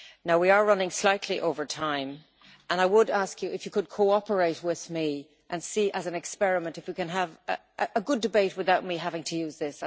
We are running slightly over time and I would ask you if you could cooperate with me and see whether, as an experiment, we can have a good debate without my having to use this.